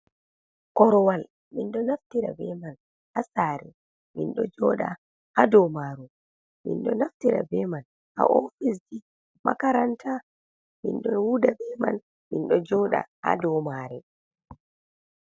Korwal minɗo naftira be man ha sare, minɗo joɗa ha dou maru, minɗo naftira be man ha ofisji, makaranta, min ɗon wuda be man, mindo joɗa ha dou mare.